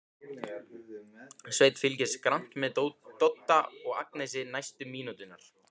Svenni fylgist grannt með Dodda og Agnesi næstu mínúturnar.